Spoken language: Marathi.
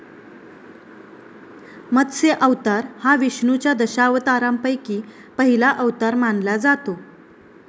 मत्स्य अवतार हा विष्णूच्या दशावतारांपैकी पहिला अवतार मानला जातो.